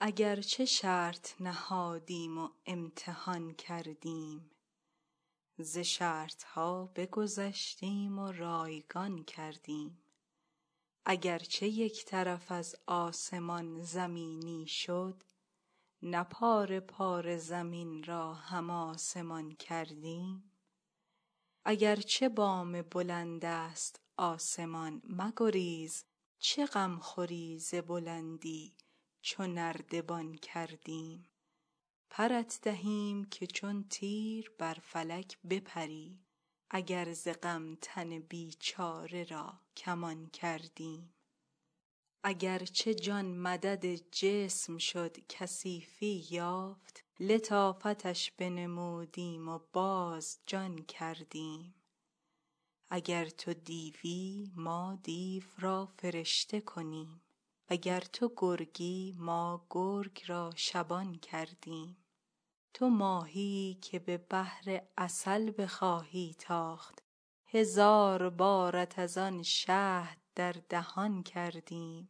اگر چه شرط نهادیم و امتحان کردیم ز شرط ها بگذشتیم و رایگان کردیم اگر چه یک طرف از آسمان زمینی شد نه پاره پاره زمین را هم آسمان کردیم اگر چه بام بلندست آسمان مگریز چه غم خوری ز بلندی چو نردبان کردیم پرت دهیم که چون تیر بر فلک بپری اگر ز غم تن بیچاره را کمان کردیم اگر چه جان مدد جسم شد کثیفی یافت لطافتش بنمودیم و باز جان کردیم اگر تو دیوی ما دیو را فرشته کنیم وگر تو گرگی ما گرگ را شبان کردیم تو ماهیی که به بحر عسل بخواهی تاخت هزار بارت از آن شهد در دهان کردیم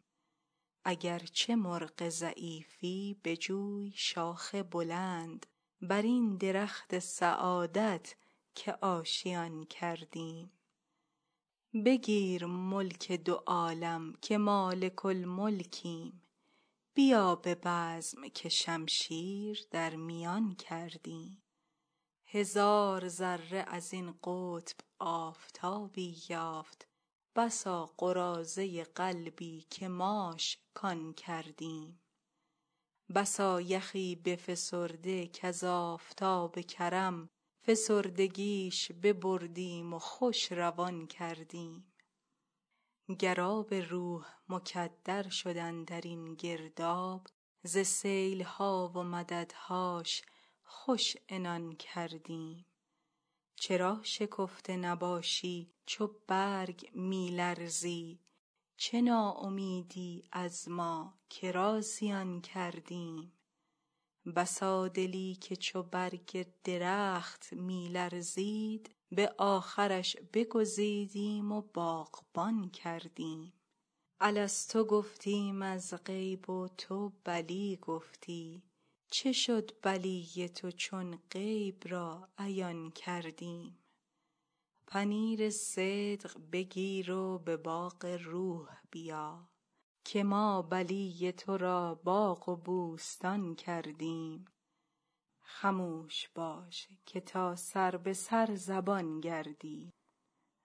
اگر چه مرغ ضعیفی بجوی شاخ بلند بر این درخت سعادت که آشیان کردیم بگیر ملک دو عالم که مالک الملکیم بیا به بزم که شمشیر در میان کردیم هزار ذره از این قطب آفتابی یافت بسا قراضه قلبی که ماش کان کردیم بسا یخی بفسرده کز آفتاب کرم فسردگیش ببردیم و خوش روان کردیم گر آب روح مکدر شد اندر این گرداب ز سیل ها و مددهاش خوش عنان کردیم چرا شکفته نباشی چو برگ می لرزی چه ناامیدی از ما که را زیان کردیم بسا دلی که چو برگ درخت می لرزید به آخرش بگزیدیم و باغبان کردیم الست گفتیم از غیب و تو بلی گفتی چه شد بلی تو چون غیب را عیان کردیم پنیر صدق بگیر و به باغ روح بیا که ما بلی تو را باغ و بوستان کردیم خموش باش که تا سر به سر زبان گردی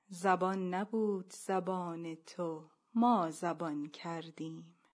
زبان نبود زبان تو ما زبان کردیم